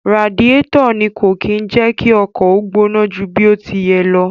Radiẹ́tọ̀ ni kò kí ń jẹ kí ọkọ̀ ó gbóná ju bí ó ti yẹ lọ.